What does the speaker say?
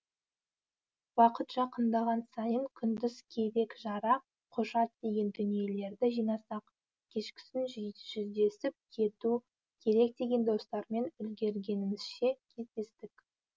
уақыт жақындаған сайын күндіз керек жарақ құжат деген дүниелерді жинасақ кешкісін жүздесіп кету керек деген достармен үлгергенімізше кездестік